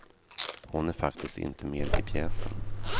Hon är faktiskt inte med i pjäsen.